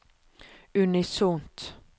unisont